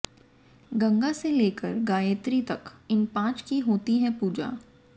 गंगा से लेकर गायत्री तक इन पांच की होती है पूजा